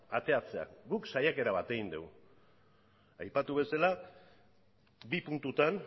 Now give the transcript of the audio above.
ateratzea guk saiakera bat egin dugu aipatu bezala bi puntutan